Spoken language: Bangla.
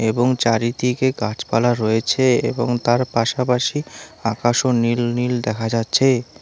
এবং চারিদিকে গাছপালা রয়েছে এবং তার পাশাপাশি আকাশও নীল নীল দেখা যাচ্ছে।